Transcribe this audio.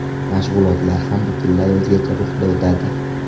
Mashg‘ulotlar ham butunlay o‘zgacha ruhda o‘tadi.